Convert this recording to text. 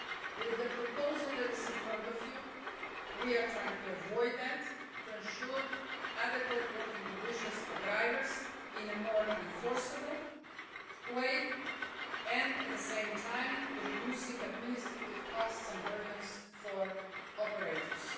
With the proposal before you, we are trying to avoid that and to ensure adequate working conditions for drivers in a more enforceable way, while at the same time reducing administrative costs and burdens for operators.